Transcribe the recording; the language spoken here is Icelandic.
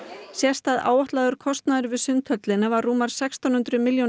sést að áætlaður kostnaður við Sundhöllina var rúmar sextán hundruð milljónir